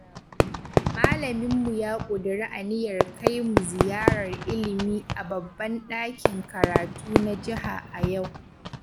Malaminmu ya ƙudiri aniyar kai mu ziyarar ilimi a babban ɗakin karatu na jiha a yau